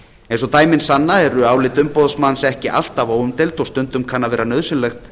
eins og dæmin sanna eru álit umboðsmanns ekki alltaf óumdeild og stundum kann að vera nauðsynlegt